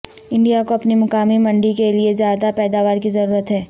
India کو اپنی مقامی منڈی کے لیے زیادہ پیداوار کی ضرورت ہے